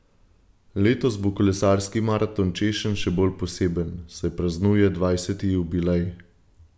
Letos bo kolesarski maraton češenj še bolj poseben, saj praznuje dvajseti jubilej!